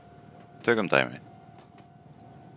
Tökum dæmi: